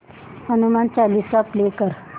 Hanuman Chalisa play कर